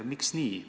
Miks nii?